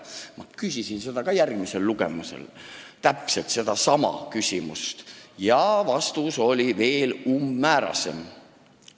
Ma küsisin täpselt sedasama ka järgmisel lugemisel ja vastus oli veel umbmäärasem.